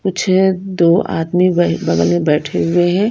कुछ दो आदमी बगल में बैठे हुए हैं।